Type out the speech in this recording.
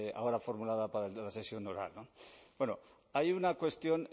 ahora formulada para la sesión oral bueno hay una cuestión